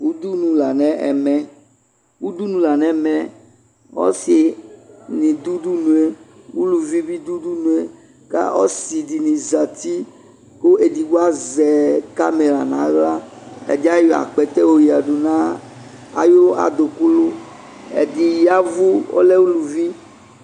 Udunu la no ɛmɛ, udunu la nɛmɛ Ɔse ne do udunue, uluvi be do udunue Aɔse de ne zati ke edigbo azɛ kamɛra nahla Ɛde ayɔ akpɛtɛ oyadu na ayu adokunu Ɛde yavu ,ɔllɛ uluvi